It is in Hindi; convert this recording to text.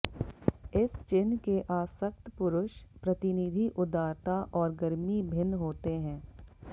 इस चिह्न के आसक्त पुरुष प्रतिनिधि उदारता और गर्मी भिन्न होते हैं